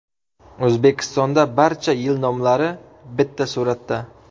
O‘zbekistonda barcha yil nomlari bitta suratda.